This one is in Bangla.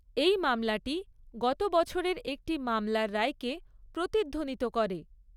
এই মামলাটি গত বছরের একটি মামলার রায়কে প্রতিধ্বনিত করে।